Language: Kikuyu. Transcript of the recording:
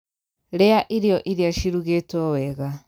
Rīa irio iria cirugītwo wega.